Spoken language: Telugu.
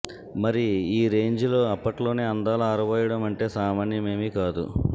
మరి ఈ రేంజిలో అప్పట్లోనే అందాలు ఆరబోయడం అంటే సామాన్యమేమీ కాదు